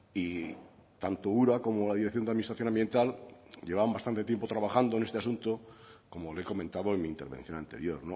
y tanto ura como la dirección de administración ambiental llevan bastante tiempo trabajando en este asunto como le he comentado en mi intervención anterior